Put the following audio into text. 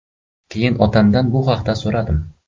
Keyin otamdan bu haqda so‘radim.